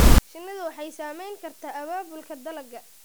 Shinnidu waxay saamayn kartaa abaabulka dalagga.